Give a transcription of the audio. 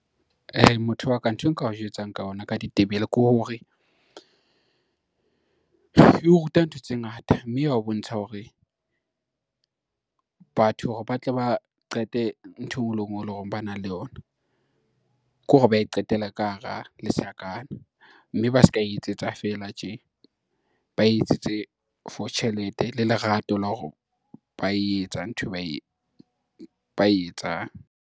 Motho wa ka nthwe Nka o jwetsang ka ona ka ditebele ke hore, e o ruta ntho tse ngata mme ya o bontsha hore, batho hore ba tle ba qete ntho eo e ngwe le e ngwe e le hore ba na le yona ke hore ba e qetele ka hara lesakana mme ba ska etsetsa fela tje, ba etsetse for tjhelete le lerato la hore ba etsa nthwe ba e etsang.